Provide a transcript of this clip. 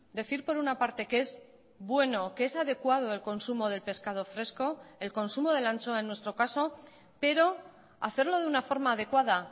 decir por una parte que es bueno que es adecuado el consumo del pescado fresco el consumo de la anchoa en nuestro caso pero hacerlo de una forma adecuada